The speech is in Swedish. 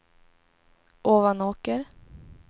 Ovanåker